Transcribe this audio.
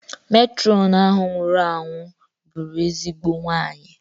Metrọnu ahụ nwụrụ anwụ bụrụ ezigbo nwanyị.